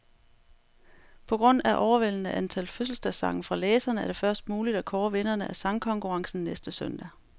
På grund af overvældende antal fødselsdagssange fra læserne, er det først muligt at kåre vinderne af sangkonkurrencen næste søndag.